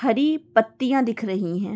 हरी पत्तियाँ दिख रही है।